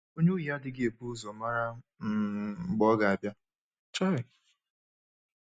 Onye ohi adịghị ebu ụzọ mara um mgbe ọ ga-abịa. um